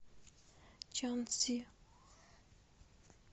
чанцзи